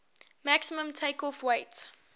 maximum takeoff weight